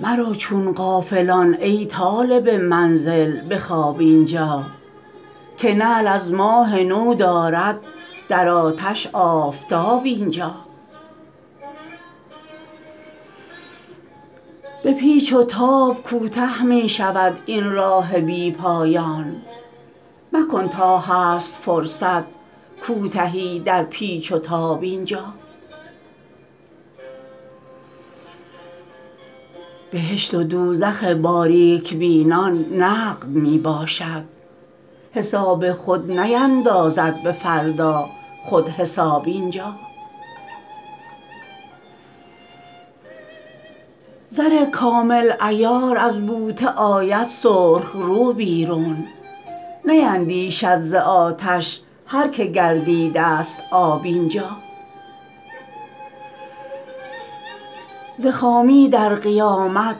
مرو چون غافلان ای طالب منزل به خواب اینجا که نعل از ماه نو دارد در آتش آفتاب اینجا به پیچ وتاب کوته می شود این راه بی پایان مکن تا هست فرصت کوتهی در پیچ و تاب اینجا بهشت و دوزخ باریک بینان نقد می باشد حساب خود نیندازد به فردا خود حساب اینجا زر کامل عیار از بوته آید سرخ رو بیرون نیندیشد ز آتش هر که گردیده است آب اینجا ز خامی در قیامت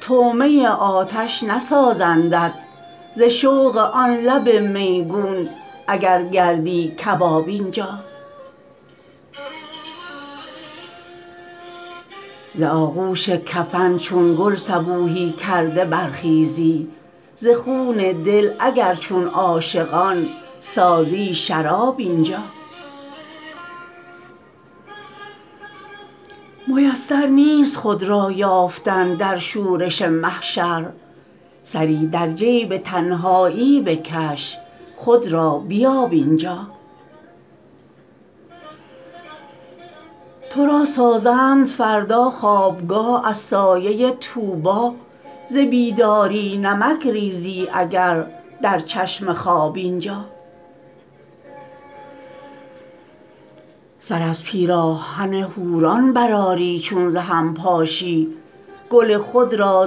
طعمه آتش نسازندت ز شوق آن لب میگون اگر گردی کباب اینجا ز آغوش کفن چون گل صبوحی کرده برخیزی ز خون دل اگر چون عاشقان سازی شراب اینجا میسر نیست خود را یافتن در شورش محشر سری در جیب تنهایی بکش خود را بیاب اینجا ترا سازند فردا خوابگاه از سایه طوبی ز بیداری نمک ریزی اگر در چشم خواب اینجا سر از پیراهن حوران برآری چون ز هم پاشی گل خود را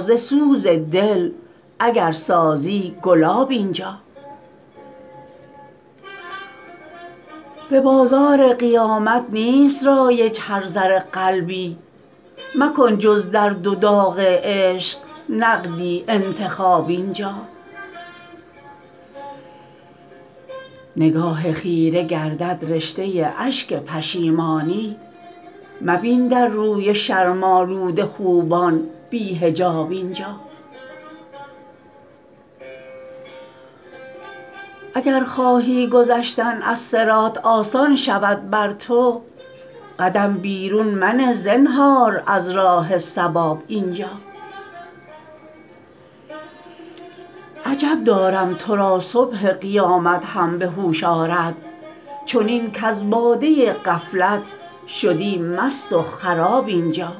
ز سوز دل اگر سازی گلاب اینجا به بازار قیامت نیست رایج هر زر قلبی مکن جز در دو داغ عشق نقدی انتخاب اینجا نگاه خیره گردد رشته اشک پشیمانی مبین در روی شرم آلود خوبان بی حجاب اینجا اگر خواهی گذشتن از صراط آسان شود بر تو قدم بیرون منه زنهار از راه صواب اینجا عجب دارم ترا صبح قیامت هم به هوش آرد چنین کز باده غفلت شدی مست و خراب اینجا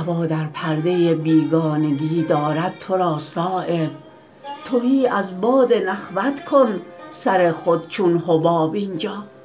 هوا در پرده بیگانگی دارد ترا صایب تهی از باد نخوت کن سر خود چون حباب اینجا